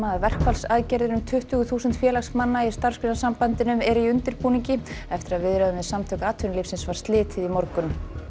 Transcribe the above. verkfallsaðgerðir um tuttugu þúsund félagsmanna í Starfsgreinasambandinu eru í undirbúningi eftir að viðræðum við Samtök atvinnulífsins var slitið í morgun